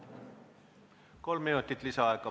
Kolm minutit lisaaega.